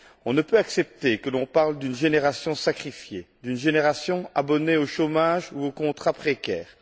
On ne peut accepter que l'on parle d'une génération sacrifiée, d'une génération abonnée au chômage ou aux contrats précaires.